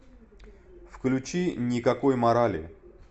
включи никакой морали